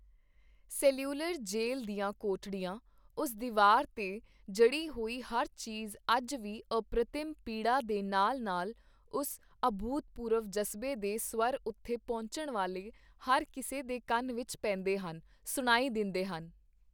Cellular Jail ਦੀਆਂ ਕੋਠੜੀਆਂ, ਉਸ ਦੀਵਾਰ ਤੇ ਜੜੀ ਹੋਈ ਹਰ ਚੀਜ ਅੱਜ ਵੀ ਅਪ੍ਰਤਿਮ ਪੀੜਾ ਦੇ ਨਾਲ-ਨਾਲ ਉਸ ਅਭੂਤਪੂਰਵ ਜਜ਼ਬੇ ਦੇ ਸਵਰ ਉੱਥੇ ਪਹੁੰਚਣ ਵਾਲੇ ਹਰ ਕਿਸੇ ਦੇ ਕੰਨ ਵਿੱਚ ਪੈਂਦੇ ਹਨ, ਸੁਣਾਈ ਦਿੰਦੇ ਹਨ।